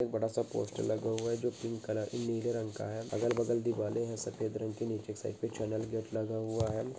एक बड़ा सा पोस्टर लगा हुआ हैं जो पिंक कलर नीले रंग का हैं अगल-बगल देवालें हैं सफेद रंग की नीचे साइड पर चैनल गेट लगा हुआ हैं।